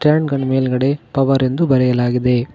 ಎನ್ಗನ್ನ ಮೇಲ್ಗಡೆ ಪವರ್ ಎಂದು ಬರೆಯಲಾಗಿದೆ.